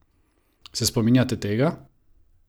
Se spominjate tega?